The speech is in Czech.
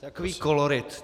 Takový kolorit.